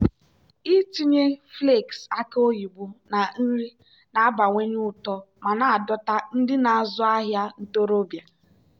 ịtinye flakes aki oyibo na nri na-abawanye ụtọ ma na-adọta ndị na-azụ ahịa ntorobịa.